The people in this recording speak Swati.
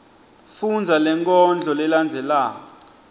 fundza lenkondlo lelandzelako